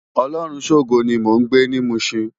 Olorunshogo ni mó n gbé ni Mushin